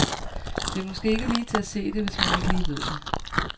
Det er måske ikke lige til at se det, hvis man ikke lige ved det.